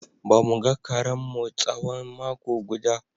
Ba mu ga karenmu tsawon mako guda.